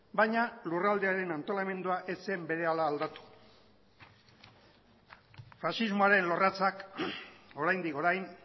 baina lurraldearen antolamendua ez zen berehala aldatu faxismoaren lorratzak oraindik orain